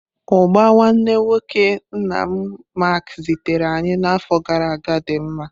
Ugba nwanne nwoke nna m Mark zitere anyi na afo gara aga di mma.